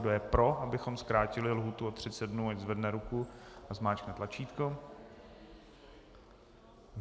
Kdo je pro, abychom zkrátili lhůtu o 30 dnů, ať zvedne ruku a zmáčkne tlačítko.